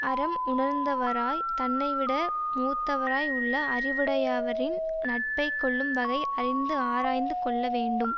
அறம் உணர்ந்தவராய்த் தன்னை விட மூத்தவராய் உள்ள அறிவுடையவரின் நட்பை கொள்ளும் வகை அறிந்து ஆராய்ந்து கொள்ள வேண்டும்